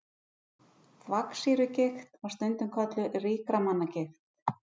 Þvagsýrugigt var stundum kölluð ríkra manna gigt.